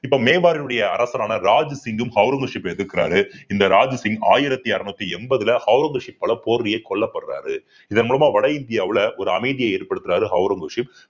இப்ப மேம்பாரின் உடைய அரசரான ராஜ் சிங்கும் ஔரங்கசீப்ப எதிர்க்கிறாரு இந்த ராஜ் சிங் ஆயிரத்தி அறுநூத்தி எண்பதுல ஔரங்கசீப் பல கொல்லப்படுறாரு இதன் மூலமா வட இந்தியாவுல ஒரு அமைதியை ஏற்படுத்துறாரு ஔரங்கசீப்